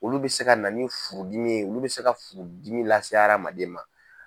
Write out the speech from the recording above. Olu bɛ se ka na furudimi ye olu bɛ se ka furudimi lase hadamaden ma.